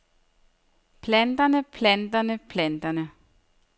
planterne planterne planterne